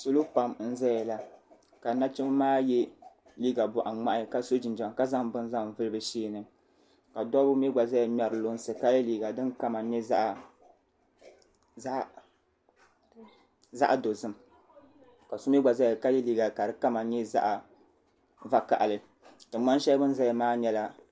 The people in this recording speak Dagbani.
Salo pam n zaya la ka nachimba maa yɛ liiga buɣi ŋmahi ka so jinjam ka zaŋ bini zaŋ vuli bi shɛ ni ka dabba mi gba zaya ŋmari lunsi ka yɛ liiga din kama yɛ zaɣi dozim ka so mi gba zaya ka yɛ liiga ka di kama nyɛ zaɣi va kahili tingbani shɛli bi ni zaya maa yɛla.